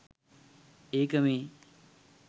ඒක මේ.